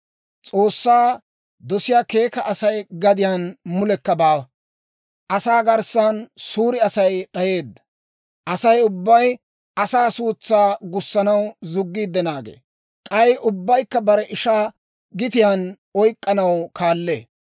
S'oossaa dosiyaa keeka Asay gadiyaan mulekka baawa; asaa garssan suure Asay d'ayeedda. Asay ubbay asaa suutsaa gussanaw zuggiid naagee; k'ay ubbaykka bare ishaa gitiyaan oyk'k'anaw kaallee.